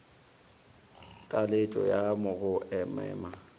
ya taletšo ya go mema